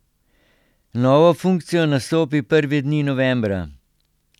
Novo funkcijo nastopi prve dni novembra.